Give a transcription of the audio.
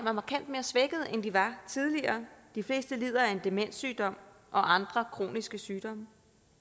er markant mere svækkede end de var tidligere de fleste lider af en demenssygdom og andre kroniske sygdomme